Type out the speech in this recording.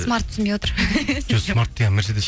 смартты түсінбей отыр жоқ смарт деген